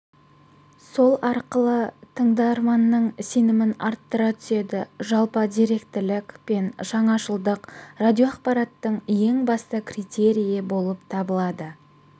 сол арқылы тыңдарманның сенімін арттыра түседі жалпы деректілік пен жаңашылдық радиоақпараттың ең басты критерийі болып табылады